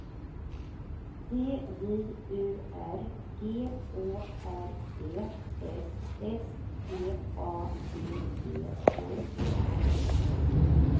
D J U R G Å R D S S T A D E N